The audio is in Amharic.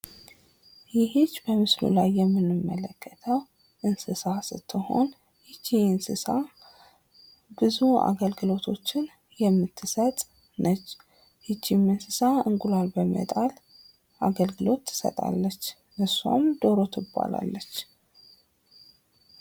ይች በምስሉ ላይ የምንመለከተው እንስሳት ስትሆን ይቺ እንስሳት ብዙ አገልግሎቶችን የምትሰጥ ነች። ይቺም እንስሳ አንቁላል በመጣል አገልግሎት ትሰጣለች ደሮ ትባላለች።